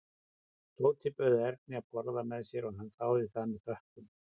Tóti bauð Erni að borða með sér og hann þáði það með þökkum.